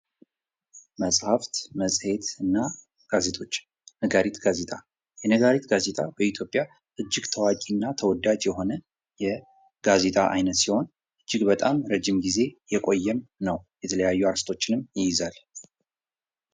መጽሐፍት ፣ መጽሄት እና ጋዜጦች ፦ ነጋሪት ጋዜጣ ፦ የነጋሪት ጋዜጣ በኢትዮጵያ እጅግ ታዋቂና ተወዳጅ የሆነ የጋዜጣ አይነት ሲሆን እጅግ በጣም ረጅም ጊዜ የቆየም ነው ። የተለያዩ አርእስቶችንም ይይዛል ።